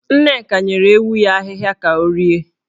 Nneka nyere ewu ya ahịhịa ka ha rie.